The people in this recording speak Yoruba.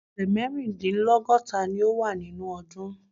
Ọ̀sẹ̀ mẹ́rìndínlọ́gọ́ta ni ó wà nínú ọdún.